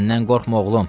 Məndən qorxma, oğlum.